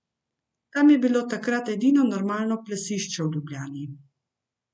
Tam je bilo takrat edino normalno plesišče v Ljubljani.